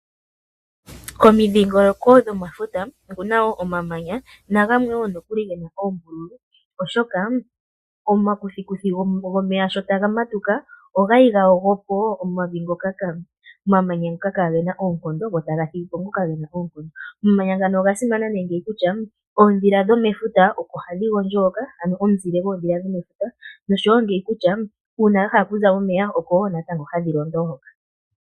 Komidhingoloko dhomafuta oku na wo omamanya nagamwe wo nokuli ge na oombululu, oshoka omakuthikuthi gomeya sho taga matuka, ogali ga yogo po wo omamanya ngoka kage na oonkondo go taga thigi po ngoka ge na oonkondo. Omamanya ngano oga simana kutya kutya oondhila dhomefuta oko hadhi gondjo hoka, ano omuzile goondhila dhomefuta noshowo ngele dha zi mo momeya oko hadhi londo hoka.